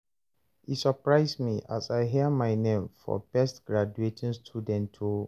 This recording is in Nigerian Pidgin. e surprise me as I hear my name for best graduating student o